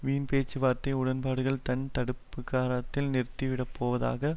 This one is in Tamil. வீன் பேச்சுவார்த்தை உடன்பாடுகளை தன் தடுப்பதிகாரத்தால் நிறுத்திவிடப்போவதாக